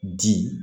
Di